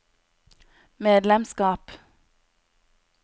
medlemskap